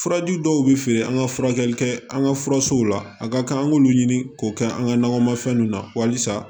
Furaji dɔw bɛ feere an ka furakɛli kɛ an ka furasow la a ka kan an k'olu ɲini k'o kɛ an ka nakɔmafɛn ninnu na halisa